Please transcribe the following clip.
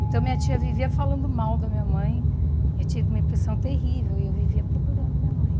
Então, minha tia vivia falando mal da minha mãe, e eu tive uma impressão terrível, e eu vivia procurando minha mãe.